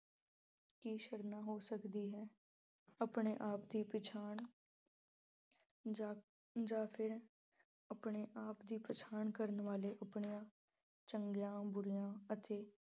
ਕੀ ਸ਼ਰਨਾ ਹੋ ਸਕਦੀ ਹੈ। ਆਪਣੇ ਆਪ ਦੀ ਪਛਾਣ ਜਾਂ ਅਹ ਜਾਂ ਫਿਰ ਆਪਣੇ ਆਪ ਦੀ ਪਛਾਣ ਕਰਨ ਵਾਲੇ ਆਪਣੇ ਚੰਗੀਆਂ ਬੁਰੀਆਂ ਅਤੇ